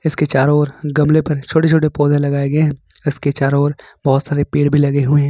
इसके चारों ओर गमले पर छोटे छोटे पौधे लगाए गए हैं ईसके चारों ओर बहुत सारे पेड़ भी लगे हुए हैं।